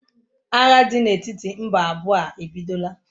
Agha dị n'etiti mba abụọ a ebidola?